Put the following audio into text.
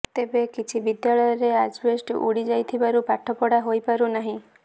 ତେବେ କିଛି ବିଦ୍ୟାଳୟରେ ଆଜବେଷ୍ଟସ୍ ଉଡ଼ି ଯାଇଥିବାରୁ ପାଠପଢ଼ା ହୋଇପାରୁନାହିଁ